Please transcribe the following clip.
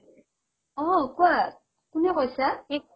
অ, কোৱা কোনে কৈছা ?